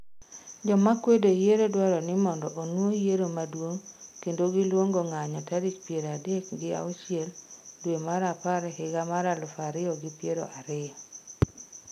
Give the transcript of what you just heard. Jomakwedo yiero dwaroni mondo onuo yiero maduong' kendo giluongo ng'anyo tarik piero adek gi auchile dwe mar apar higa mar aluf ariyo gi piero ariyo